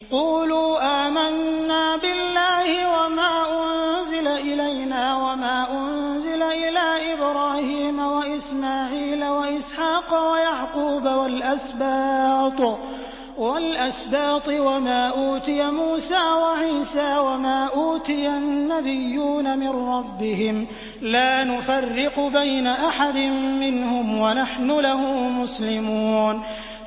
قُولُوا آمَنَّا بِاللَّهِ وَمَا أُنزِلَ إِلَيْنَا وَمَا أُنزِلَ إِلَىٰ إِبْرَاهِيمَ وَإِسْمَاعِيلَ وَإِسْحَاقَ وَيَعْقُوبَ وَالْأَسْبَاطِ وَمَا أُوتِيَ مُوسَىٰ وَعِيسَىٰ وَمَا أُوتِيَ النَّبِيُّونَ مِن رَّبِّهِمْ لَا نُفَرِّقُ بَيْنَ أَحَدٍ مِّنْهُمْ وَنَحْنُ لَهُ مُسْلِمُونَ